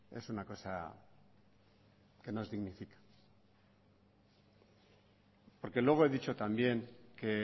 es una cosa que nos dignifica porque luego he dicho también que